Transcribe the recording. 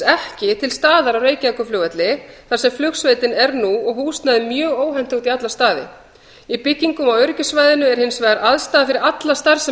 ekki til staðar á reykjavíkurflugvelli þar sem flugsveitin er nú og húsnæðið mjög óhentugt í alla staði í byggingum á öryggissvæðinu er hins vegar aðstaða fyrir alla starfsemi